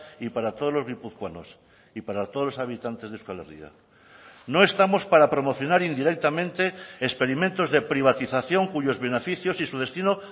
y para todos los guipuzcoanos y para todos los habitantes de euskal herria no estamos para promocionar indirectamente experimentos de privatización cuyos beneficios y su destino